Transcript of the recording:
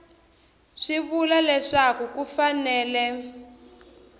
swi vula leswaku ku fanele